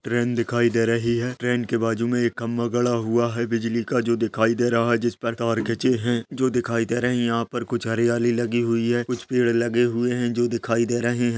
Train दिखाई दे रही है। ट्रेन के बाजु में एक खम्बा गडा हुआ है बिजली का जो दिखाई दे रहा है। जिसपर तार खिचे है जो दिखाई दे रहे है। यहाँ पर कुछ हरियाली लगी हुई है। कुछ पेड़ लगे हुए है जो दिखाई दे रहे है।